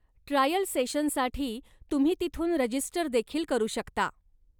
Trial सेशनसाठी तुम्ही तिथून रजिस्टरदेखील करू शकता.